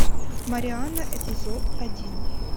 марианна эпизод один